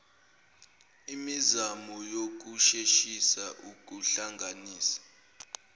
imizamo yokusheshisa ukuhlanganisa